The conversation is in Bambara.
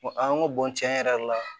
Ko an ko tiɲɛ yɛrɛ la